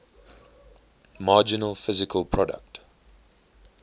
marginal physical product